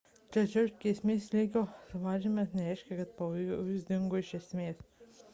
tačiau grėsmės lygio sumažinimas nereiškia kad pavojus dingo iš esmės